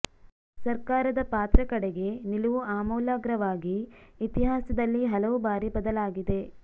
ಸರ್ಕಾರದ ಪಾತ್ರ ಕಡೆಗೆ ನಿಲುವು ಆಮೂಲಾಗ್ರವಾಗಿ ಇತಿಹಾಸದಲ್ಲಿ ಹಲವು ಬಾರಿ ಬದಲಾಗಿದೆ